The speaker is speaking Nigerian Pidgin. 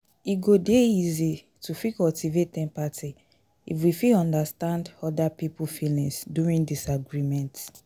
e go dey easy to fit cultivate empathy if we fit understand oda pipo feelings during disagreement